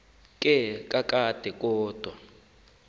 ke kakade kodwa